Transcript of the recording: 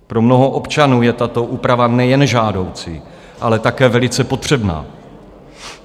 Pro mnoho občanů je tato úprava nejen žádoucí, ale také velice potřebná.